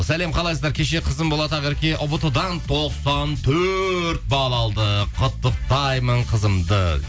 сәлем қалайсыздар кеше қызым болат ақерке ұбт дан тоқсан төрт бал алды құттықтаймын қызымды